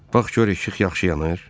Bax gör işıq yaxşı yanır?